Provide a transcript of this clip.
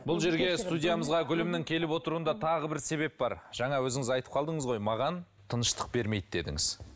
бұл жерге студиямызға гүлімнің келіп отыруында тағы бір себеп бар жаңа өзіңіз айтып қалдыңыз ғой маған тыныштық бермейді дедіңіз